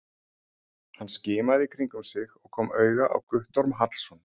Hann skimaði í kringum sig og kom auga á Guttorm Hallsson.